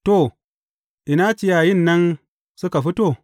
To, ina ciyayin nan suka fito?’